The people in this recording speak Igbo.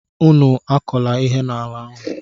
Unu akọla ihe n'ala ahụ!